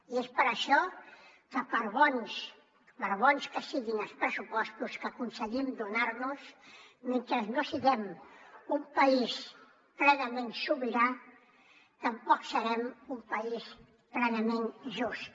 i és per això que per bons que siguin els pressupostos que aconseguim donar nos mentre no siguem un país plenament sobirà tampoc serem un país plenament just